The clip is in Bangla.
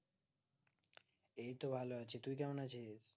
এই তো ভালো আছি, তুই কেমন আছিস?